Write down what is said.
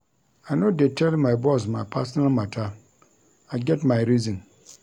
I no dey tell my boss my personal mata, I get my reason.